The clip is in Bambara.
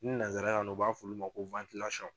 Ni nanzarakan na u b'a fɔ olu ma ko